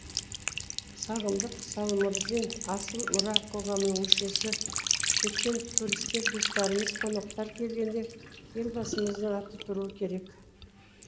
сағындық салмырзин асыл мұра қоғамының мүшесі шеттен туристер достарымыз қонақтар келгенде елбасымыздың аты тұруы керек